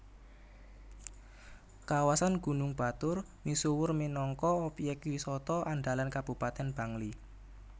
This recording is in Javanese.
Kawasan Gunung Batur misuwur minangka obyek wisata andalan Kabupatèn Bangli